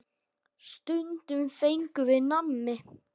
Stundum fengum við nammi.